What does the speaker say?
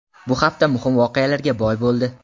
Bu hafta muhim voqealarga boy bo‘ldi.